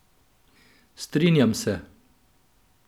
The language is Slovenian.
Strinjam se.